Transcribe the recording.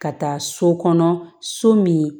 Ka taa so kɔnɔ so min